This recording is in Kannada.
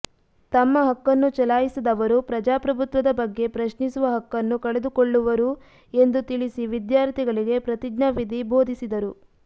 ತಮ್ಮ ಹಕ್ಕನ್ನು ಚಲಾಯಿಸದವರು ಪ್ರಜಾಪ್ರಭುತ್ವದ ಬಗ್ಗೆ ಪ್ರಶ್ನಿಸುವ ಹಕ್ಕನ್ನು ಕಳೆದುಕೊಳ್ಳುವರು ಎಂದು ತಿಳಿಸಿ ವಿದ್ಯಾರ್ಥಿಗಳಿಗೆ ಪ್ರತಿಜ್ಞಾ ವಿಧಿ ಬೋಧಿಸಿದರು